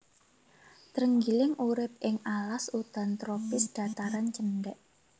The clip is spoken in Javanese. Trenggiling urip ing alas udan tropis dhataran cendhèk